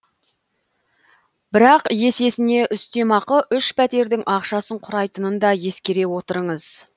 бірақ есесіне үстемақы үш пәтердің ақшасын құрайтынын да ескере отырыңыз